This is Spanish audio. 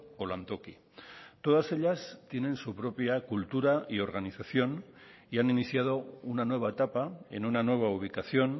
o lantoki todas ellas tienen su propia cultura y organización y han iniciado una nueva etapa en una nueva ubicación